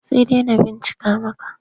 Sai dai na bincika maka.